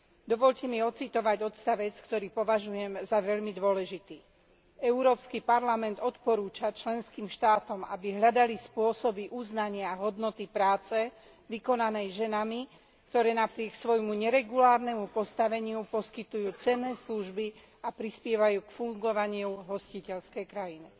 Dovoľte mi odcitovať odsek, ktorý považujem za veľmi dôležitý Európsky parlament odporúča členským štátom, aby hľadali spôsoby uznania hodnoty práce vykonanej ženami, ktoré napriek svojmu neregulárnemu postaveniu poskytujú cenné služby a prispievajú k fungovaniu hostiteľskej krajiny.